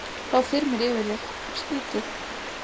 Þá þyrmir yfir þig, skrýtið.